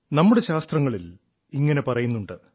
നമ്മുടെ ശാസ്ത്രങ്ങളിൽ ഇങ്ങനെ പറയുന്നുണ്ട്